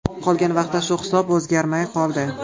Qolgan vaqtda shu hisob o‘zgarmay qoldi.